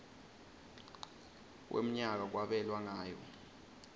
wemnyaka kwabelwa ngayo